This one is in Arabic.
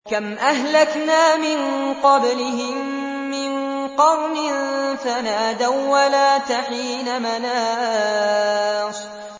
كَمْ أَهْلَكْنَا مِن قَبْلِهِم مِّن قَرْنٍ فَنَادَوا وَّلَاتَ حِينَ مَنَاصٍ